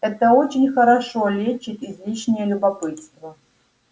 это очень хорошо лечит излишнее любопытство